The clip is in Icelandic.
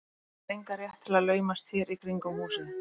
Þú hefur engan rétt til að laumast hér í kringum húsið.